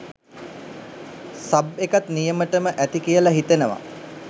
sub එකත් නියමටම ඇති කියලා හිතෙනවා